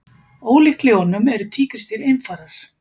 Ólíkt ljónum eru tígrisdýr einfarar.